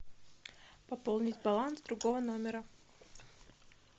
пополнить баланс другого номера